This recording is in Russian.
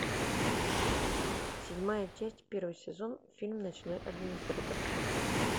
седьмая часть первый сезон фильм ночной администратор